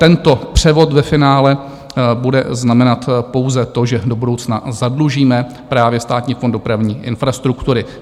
Tento převod ve finále bude znamenat pouze to, že do budoucna zadlužíme právě Státní fond dopravní infrastruktury.